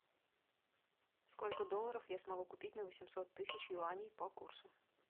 сколько долларов я смогу купить на восемьсот тысяч юаней по курсу